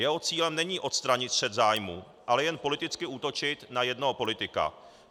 Jeho cílem není odstranit střet zájmů, ale jen politicky útočit na jednoho politika.